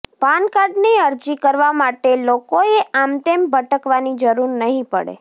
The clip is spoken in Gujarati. પાન કાર્ડ ની અરજી કરવા માટે લોકોએ આમતેમ ભટકવાની જરૂર નહી પડે